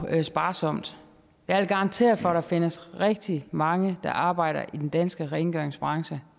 sparsomt jeg vil garantere for at der findes rigtig mange fra der arbejder i den danske rengøringsbranche